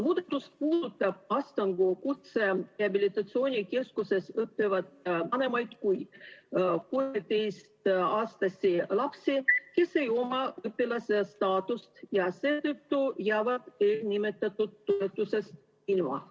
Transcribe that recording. Muudatus puudutab Astangu Kutserehabilitatsiooni Keskuses õppivaid vanemaid kui 13-aastasi lapsi, kes ei oma õpilase staatust ja seetõttu jäävad nimetatud toetusest ilma.